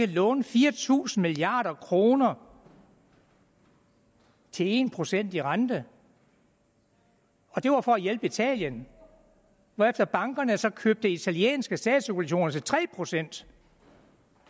låne fire tusind milliard kroner til en procent i rente og det var for at hjælpe italien hvorefter bankerne så købte italienske statsobligationer til tre procent